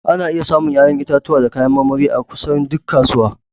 Ana iya samun 'ya'yan itatuwa da kayan marmari a kusan duk kasuwa.